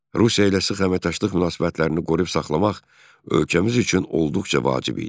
Rusiya ilə sıx əməkdaşlıq münasibətlərini qoruyub saxlamaq ölkəmiz üçün olduqca vacib idi.